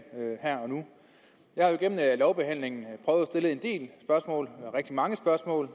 her og nu jeg har jo igennem lovbehandlingen prøvet at stille en del spørgsmål rigtig mange spørgsmål